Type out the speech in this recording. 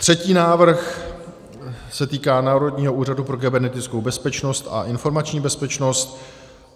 Třetí návrh se týká Národního úřadu pro kybernetickou bezpečnost a informační bezpečnost.